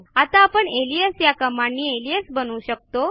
आता आपण अलियास या कमांडनी अलियास बनवू शकतो